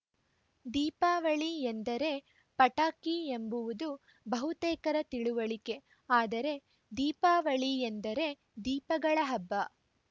ದೀಪಾವಳಿ ಎಂದರೇ ಪಟಾಕಿ ಎಂಬುವುದು ಬಹುತೇಕರ ತಿಳುವಳಿಕೆ ಆದರೆ ದೀಪಾವಳಿ ಎಂದರೆ ದೀಪಗಳ ಹಬ್ಬ